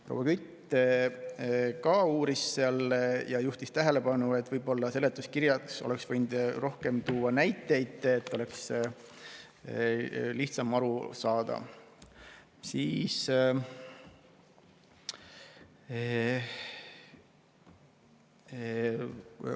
Proua Kütt juhtis tähelepanu, et seletuskirjas oleks võinud tuua rohkem näiteid, et oleks lihtsam aru saada.